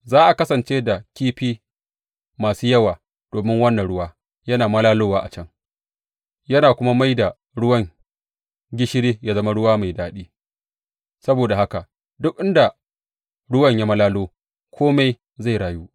Za a kasance da kifi masu yawa, domin wannan ruwa yana malalowa a can yana kuma mai da ruwan gishiri yă zama ruwa mai daɗi; saboda haka duk inda ruwan ya malalo, kome zai rayu.